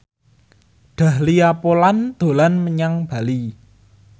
Dahlia Poland dolan menyang Bali